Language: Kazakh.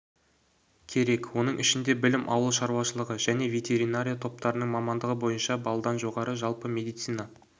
керек оның ішінде білім ауыл шаруашылығы және ветеринария топтарының мамандығы бойынша баллдан жоғары жалпы медицина